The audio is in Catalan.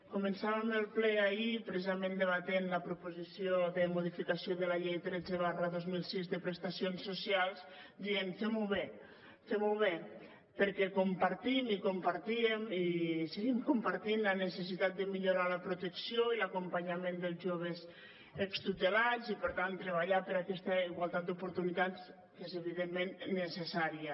començàvem el ple ahir precisament debatent la proposició de modificació de la llei tretze dos mil sis de prestacions socials dient fem ho bé fem ho bé perquè compartim i compartíem i seguim compartint la necessitat de millorar la protecció i l’acompanyament dels joves extutelats i per tant treballar per aquesta igualtat d’oportunitats que és evidentment necessària